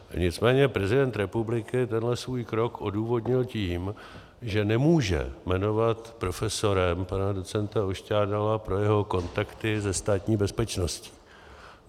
Nicméně prezident republiky tenhle svůj krok odůvodnil tím, že nemůže jmenovat profesorem pana docenta Ošťádala pro jeho kontakty se Státní bezpečností.